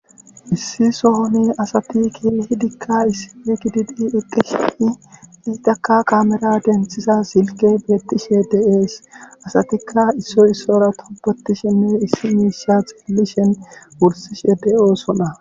Issi sohoni asati keehidikka issippe gididi etaka kaamera denthida silkke beetishe de'ees. asatikka issoy issuwara tobetishe issi mishsha xeelishenne wurssishe de'osona.